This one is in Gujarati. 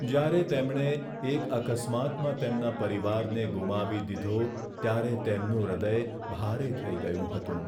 જ્યારે તેમણે એક અકસ્માતમાં તેમના પરિવારને ગુમાવી દીધો ત્યારે તેમનું હૃદય ભારે થઈ ગયું હતું.